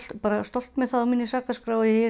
bara stolt með það á minni sakaskrá ef ég